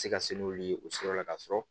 Se ka se n'olu ye o sira la ka sɔrɔ